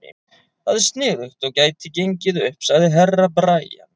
Það er sniðugt og gæti gengið upp, sagði Herra Brian.